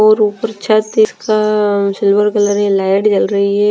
और ऊपर छत से का सिल्वर कलर की लाइट जल रही है ।